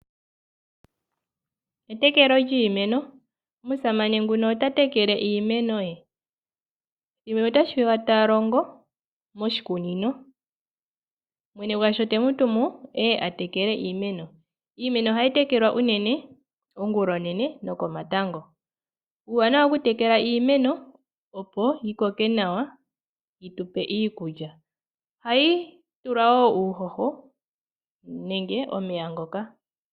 Etekelo lyiimeno. Omusamane ota tekele iimeno ye. Ye mwene otashi vulika ta longo moshikunino. Mwene gwasho te mu tumu e ye a tekele iimeno. Iimeno ohayi tekelwa unene ongulonene nokomatango. Uuwanawa wokutekela iimeno, opo yi koke nawa yi tu pe iikulya. Ohayi tulwa wo uuhoho nenge omeya ngoka.